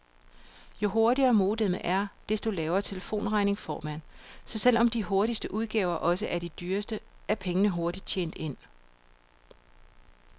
Jo hurtigere modemet er, desto lavere telefonregning får man, så selv om de hurtigste udgaver også er de dyreste, er pengene hurtigt tjent ind.